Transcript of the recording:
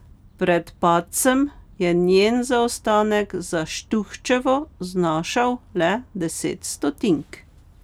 Pred padcem je njen zaostanek za Štuhčevo znašal le deset stotink.